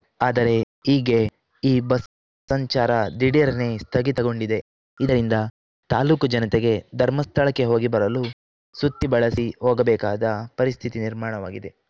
ಆದರೆ ಈಗ್ಗೆ ಈ ಬಸ್‌ ಸಂಚಾರ ದಿಢೀರ್ನೆ ಸ್ಥಗಿತ ಗೊಂಡಿದೆ ಇದರಿಂದ ತಾಲೂಕು ಜನತೆಗೆ ಧರ್ಮಸ್ಥಳಕ್ಕೆ ಹೋಗಿ ಬರಲು ಸುತ್ತಿ ಬಳಸಿ ಹೋಗಬೇಕಾದ ಪರಿಸ್ಥಿತಿ ನಿರ್ಮಾಣವಾಗಿದೆ